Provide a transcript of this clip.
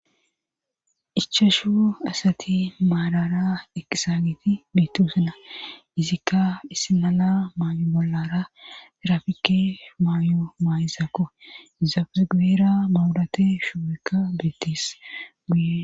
Ichashu asati maarara eqqisaagiti beettoosona izikka issinala maayo bollara tirafike maayo maayisakko izappe guyeera mabraate shuubekka.